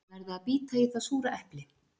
Að verða að bíta í það súra epli